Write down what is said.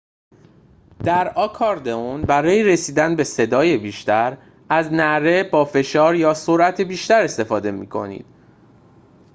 در آکاردئون برای رسیدن به صدای بیشتر از نعره با فشار یا سرعت بیشتر استفاده می کنید